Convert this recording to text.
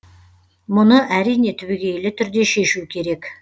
мұны әрине түбегейлі түрде шешу керек